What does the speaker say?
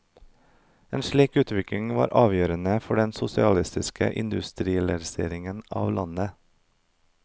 En slik utvikling var avgjørende for den sosialistiske industrialiseringen av landet.